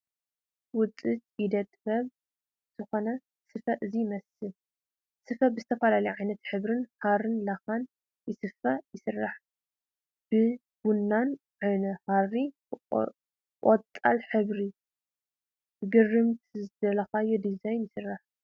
ውፅኢት ኢደ- ጥበብ ዝኾነ ስፈ እዚ ይመስል፡፡ ስፈ ብዝተፈላለዩ ዓይነት ሕብርታት ሃርን ላኻን ይስፈ/ ይስራሕ፡፡ ብቡና ዓይነት ሃሪ፣ ብቆፃል ሕብሪን ብግርምትን ዝደለኻዮ ዲዛይንን ይስራሕ፡፡